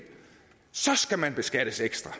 så skal man beskattes ekstra